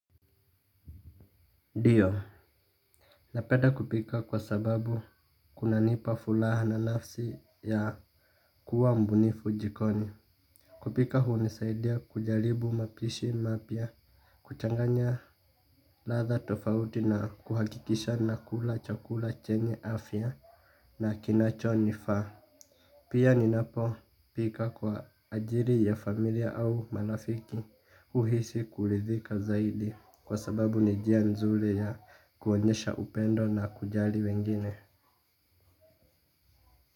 Dio, napenda kupika kwa sababu kunanipa fulaha na nafsi ya kuwa mbunifu jikoni. Kupika hunisaidia kujaribu mapishi mapya, kuchanganya latha tofauti na kuhakikisha nakula chakula chenye afya na kinacho nifaa. Pia ninapo pika kwa ajili ya familia au marafiki uhisi kulidhika zaidi kwa sababu ni jia nzuri ya kuonyesha upendo na kujali wengine.